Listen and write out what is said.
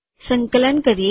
સંકલન કરીએ